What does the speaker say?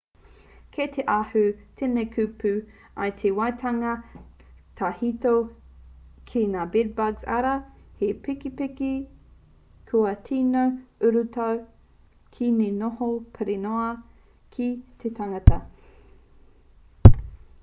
kei te ahu mai tēnei kupu i te waiatanga tahito ki ngā bed-bugs arā he pepeke kua tino urutau ki te noho pirinoa ki te tangata